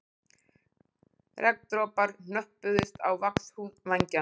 Regndropar hnöppuðust á vaxhúð vængjanna.